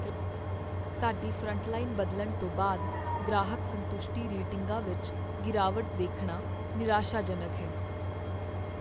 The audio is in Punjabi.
ਸਾਡੀ ਫਰੰਟਲਾਈਨ ਬਦਲਣ ਤੋਂ ਬਾਅਦ ਗ੍ਰਾਹਕ ਸੰਤੁਸ਼ਟੀ ਰੇਟਿੰਗਾਂ ਵਿੱਚ ਗਿਰਾਵਟ ਦੇਖਣਾ ਨਿਰਾਸ਼ਾਜਨਕ ਹੈ।